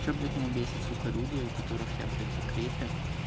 что блять меня бесит сука люди у которых я блять в закрепе